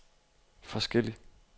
forskellig